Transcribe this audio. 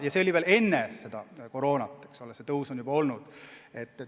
Ja see oli enne koroonat, see tõus algas juba varem.